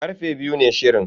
Karfe biyu ne shirin.